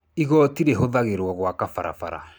Igooti rĩhũthagĩrũo gwaka barabara.